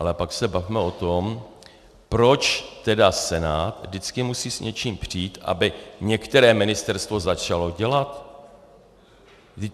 Ale pak se bavme o tom, proč tedy Senát vždycky musí s něčím přijít, aby některé ministerstvo začalo dělat?